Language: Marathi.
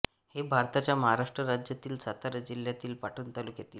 हे भारताच्या महाराष्ट्र राज्यातील सातारा जिल्ह्यातील पाटण तालुक्यातील